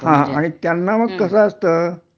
हा आणि त्यांना मग कसं असत